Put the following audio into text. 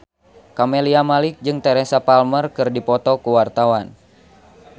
Camelia Malik jeung Teresa Palmer keur dipoto ku wartawan